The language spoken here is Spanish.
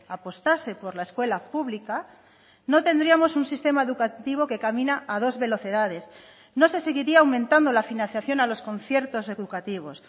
apostase por la escuela pública no tendríamos un sistema educativo que camina a dos velocidades no se seguiría aumentando la financiación a los conciertos educativos